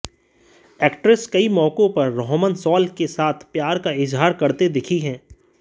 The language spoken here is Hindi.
एक्ट्रेस कई मौकों पर रोहमन शॉल के साथ प्यार का इजहार करते दिखी हैं